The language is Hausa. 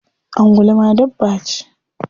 Angulu ma dabba ce?